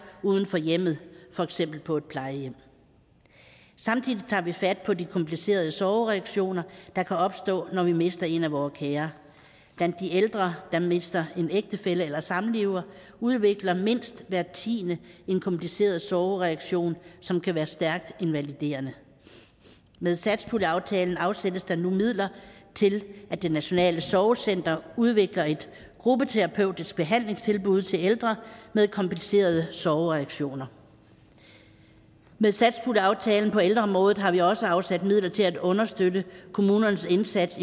uden for hjemmet for eksempel på et plejehjem samtidig tager vi fat på de komplicerede sorgreaktioner der kan opstå når vi mister en af vore kære blandt de ældre der mister en ægtefælle eller samlever udvikler mindst hver tiende en kompliceret sorgreaktion som kan være stærkt invaliderende med satspuljeaftalen afsættes der nu midler til at det nationale sorgcenter udvikler et gruppeterapeutisk behandlingstilbud til ældre med komplicerede sorgreaktioner med satspuljeaftalen på ældreområdet har vi også afsat midler til at understøtte kommunernes indsats